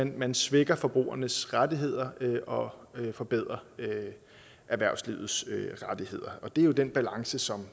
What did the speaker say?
man svækker forbrugernes rettigheder og forbedrer erhvervslivets rettigheder og det er jo den balance som